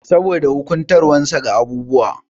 Saboda wufantarwasa ga abubuwa.